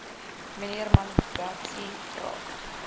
mnr malebatsi vra